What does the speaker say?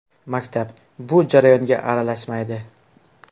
Maktab bu jarayonga aralashmaydi.